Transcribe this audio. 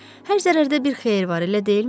Hər zərərdə bir xeyir var, elə deyilmi?